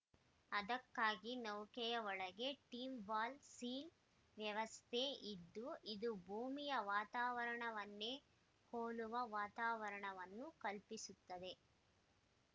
ಅದಕ್ಕಾಗಿ ನೌಕೆಯ ಒಳಗೆ ಟ್ವಿನ್‌ ವಾಲ್‌ ಸೀ ವ್ಯವಸ್ಥೆ ಇದ್ದು ಇದು ಭೂಮಿಯ ವಾತಾವರಣವನ್ನೇ ಹೋಲುವ ವಾತಾವರಣವನ್ನು ಕಲ್ಪಿಸುತ್ತದೆ